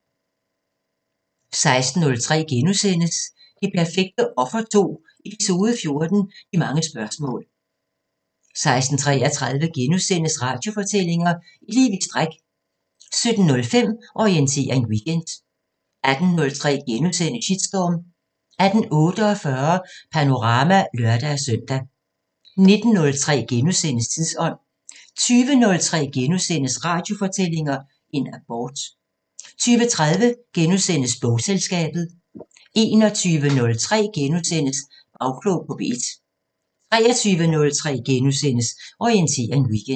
16:03: Det perfekte offer 2 – Eps. 14 – De mange spørgsmål * 16:33: Radiofortællinger – Et liv i stræk * 17:05: Orientering Weekend 18:03: Shitstorm * 18:48: Panorama (lør-søn) 19:03: Tidsånd * 20:03: Radiofortællinger – En abort * 20:30: Bogselskabet * 21:03: Bagklog på P1 * 23:03: Orientering Weekend *